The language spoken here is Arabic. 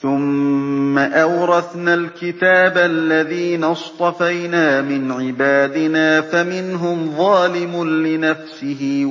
ثُمَّ أَوْرَثْنَا الْكِتَابَ الَّذِينَ اصْطَفَيْنَا مِنْ عِبَادِنَا ۖ فَمِنْهُمْ ظَالِمٌ لِّنَفْسِهِ